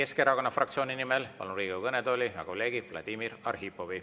Eesti Keskerakonna fraktsiooni nimel palun Riigikogu kõnetooli hea kolleegi Vladimir Arhipovi.